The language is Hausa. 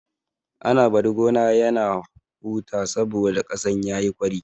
Ana bari gona ya huta saboda ƙasan yayi ƙwari.